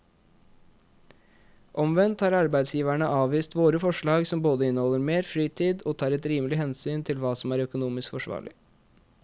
Omvendt har arbeidsgiverne avvist våre forslag som både inneholder mer fritid og tar et rimelig hensyn til hva som er økonomisk forsvarlig.